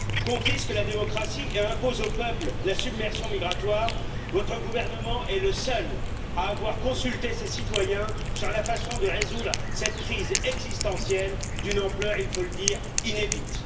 confisquent la démocratie et imposent aux peuples la submersion migratoire, votre gouvernement est le seul à avoir consulté ses citoyens sur la façon de résoudre cette crise existentielle d'une ampleur il faut le dire inédite.